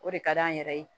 O de ka d'an yɛrɛ ye